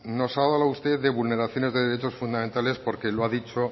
nos hablaba usted de vulneraciones de derechos fundamentales porque lo ha dicho